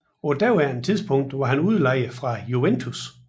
På daværende tidspunkt var han udlejet fra Juventus